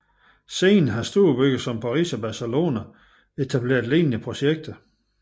Siden har storbyer som Paris og Barcelona etableret lignende projekter